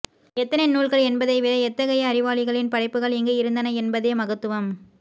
எத்தனை நூல்கள் என்பதை விட எத்தகைய அறிவாளிகளின் படைப்புகள் இங்கு இருந்தன என்பதே மகத்துவம்